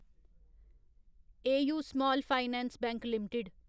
AU small finance bank limited